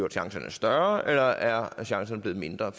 chancen større eller er chancen blevet mindre